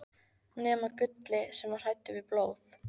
nema Gulli, sem var hræddur við blóð.